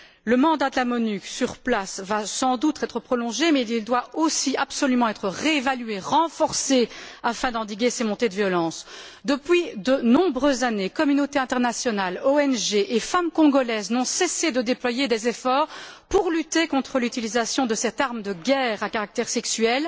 Le mandat de la MONUC, sur place, va sans doute être prolongé, mais il doit aussi absolument être réévalué, renforcé, afin d'endiguer ces montées de violence. Depuis de nombreuses années, communautés internationales, ONG et femmes congolaises n'ont cessé de déployer des efforts pour lutter contre l'utilisation de cette arme de guerre à caractère sexuel,